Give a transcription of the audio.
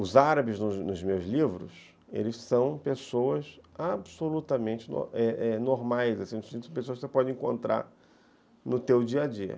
Os árabes, nos nos meus livros, eles são pessoas absolutamente normais, assim, pessoas que você pode encontrar no seu dia a dia.